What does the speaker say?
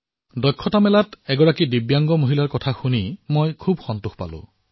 হুনাৰ হাটত এগৰাকী দিব্যাংগ মহিলাৰ সৈতে মত বিনিময় কৰি খুব সন্তোষিত হলো